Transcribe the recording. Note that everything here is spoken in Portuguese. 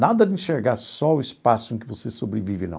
Nada de enxergar só o espaço em que você sobrevive, não.